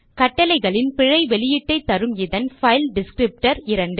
கட்டளைகளின் பிழை வெளியீட்டை தருமிதன் பைல் டிஸ்க்ரிப்டர் 2